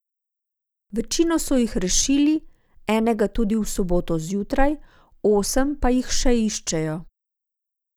Večino so jih rešili, enega tudi v soboto zjutraj, osem pa jih še iščejo.